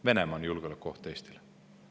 Venemaa on julgeolekuoht Eestile.